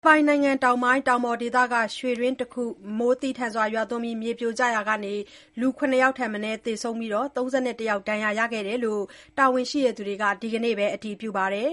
ပိုင်နိုင်ငံတောင်ပိုင်း တောင်ပေါ်ဒေသက ရွှေတွင်းတခုမှာ မိုးသည်းထန် မြေပြိုရာက လူ ၇ ယောက်ထက်မနည်း သေဆုံးပြီး ၃၁ ယောက် ဒဏ်ရာရခဲ့ကြောင်း တာဝန်ရှိသူတွေက ဒီနေ့ပဲ အတည်ပြုပါတယ်